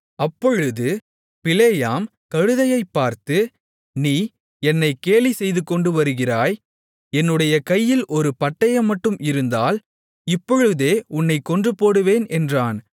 அப்பொழுது பிலேயாம் கழுதையைப் பார்த்து நீ என்னை கேலி செய்துகொண்டு வருகிறாய் என்னுடைய கையில் ஒரு பட்டயம்மட்டும் இருந்தால் இப்பொழுதே உன்னைக் கொன்றுபோடுவேன் என்றான்